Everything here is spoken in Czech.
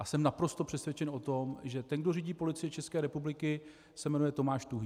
A jsem naprosto přesvědčen o tom, že ten, kdo řídí Policii České republiky, se jmenuje Tomáš Tuhý.